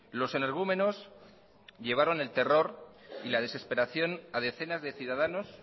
los energúmenos llevaron el terror y la desesperación a decenas de ciudadanos